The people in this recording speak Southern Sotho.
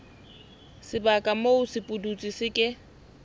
sebaka moo sepudutsi se ke